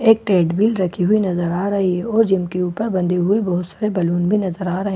एक रखी हुई नजर आ रही है और जिम के ऊपर बंधे हुए बहुत सारे बैलून भी नजर आ रहे हैं।